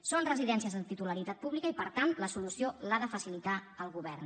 són residències de titularitat pública i per tant la solució l’ha de facilitar el govern